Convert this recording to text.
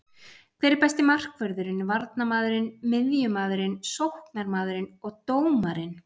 Hver er besti markvörðurinn, varnarmaðurinn, miðjumaðurinn, sóknarmaðurinn og dómarinn?